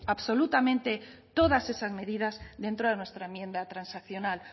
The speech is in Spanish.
absolutamente todas esas medidas dentro de nuestra enmienda transaccional